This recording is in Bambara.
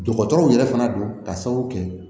Dɔgɔtɔrɔw yɛrɛ fana don ka sababu kɛ